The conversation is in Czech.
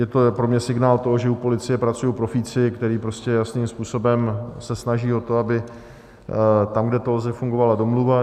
Je to pro mě signál toho, že u policie pracují profíci, kteří prostě jasným způsobem se snaží o to, aby tam, kde to lze, fungovala domluva.